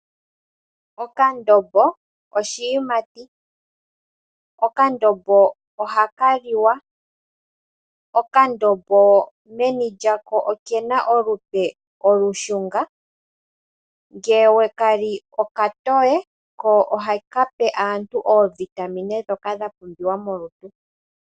Okandombo oshiyimati. Okandombo ohaka liwa. Okandombo meni lyako okena olupe olushunga ngele weka li okatowe ko ohaka pe aantu oovitamine ndhoka dha pumbiwa molutu.